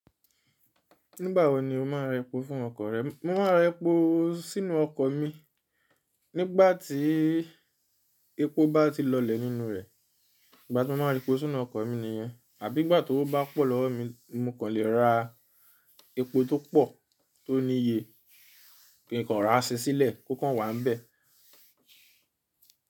Nígbà wo ni o máa rẹ epo fún ọkọ̀ rẹ? Mo máa ra epo sínú ọkọ̀ mi nígbà tí epo bá ti lọlẹ̀ nínú rẹ̀. Ìgbà tí mo ma rẹ epo sínú ọkọ̀ mi nìyẹn. Àbí ìgbà ti ówo bá pọ̀ lọwo mi, mo kàn le ra epo tó pọ̀ tó ní iye kí n kàn ra ṣe sílẹ̀ kó kàn wà níbẹ̀.